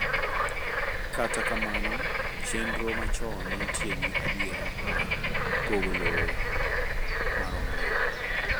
Kata kamano chenro machon nenitie gi adiera mar pogo lowo maromre